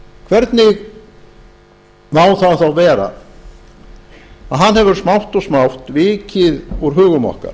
það þá vera að hann hefur smátt og smátt vikið úr hugum okkar